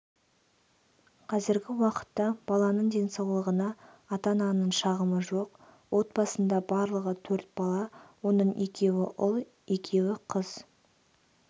қазіргі уақытта баланың денсаулығына ата-ананың шағымы жоқ отбасында барлығы төрт бала оның екеуі ұл екеуі қыз